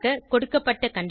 கொடுக்கப்பட்ட கண்டிஷன்